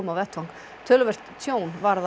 á vettvang töluvert tjón varð